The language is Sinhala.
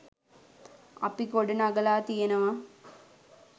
අපි ගොඩ නගලා තියෙනවා.